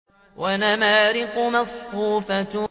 وَنَمَارِقُ مَصْفُوفَةٌ